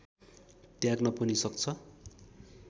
त्याग्न पनि सक्छ